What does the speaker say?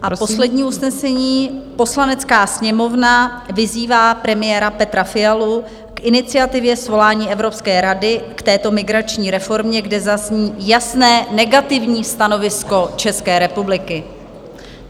A poslední usnesení: "Poslanecká sněmovna vyzývá premiéra Petra Fialu k iniciativě svolání Evropské rady k této migrační reformě, kde zazní jasné negativní stanovisko České republiky."